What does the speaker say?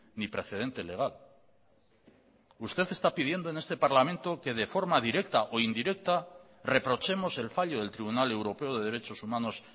ni precedente legal usted está pidiendo en este parlamento que de forma directa o indirecta reprochemos el fallo del tribunal europeo de derechos humanos